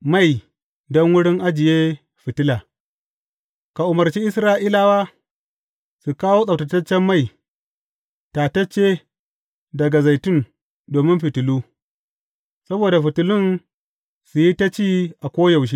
Mai don wurin ajiye fitila Ka umarci Isra’ilawa su kawo tsabtataccen mai, tatacce daga zaitun domin fitilu, saboda fitilun su yi ta ci a koyaushe.